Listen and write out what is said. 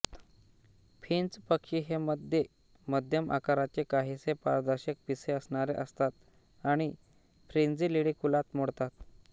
Finch पक्षी हे मध्ये मध्यम आकाराचे काहीसे पारदर्शक पिसे असणारे असतात आणि फ्रिंजिलिडी कुलात मोडतात